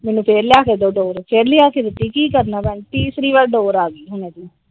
ਮੈਨੂੰ ਫਿਰ ਲਿਆ ਕੇ ਦਊ ਡੋਰ ਫਿਰ ਲਿਆ ਕੇ ਦਿੱਤੀ ਕਿ ਕਰਨਾ ਭੈਣਜੀ ਤੀਸਰੀ ਵਾਰ ਡੋਰ ਆਗਿ ਹੁਣ ਇਹਦੀ ।